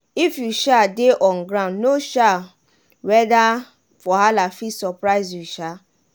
if you um dey on guard no um weada wahala fit surprise you. um